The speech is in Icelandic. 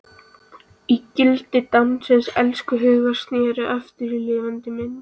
Ígildi dáins elskhuga sneri aftur í lifandi mynd.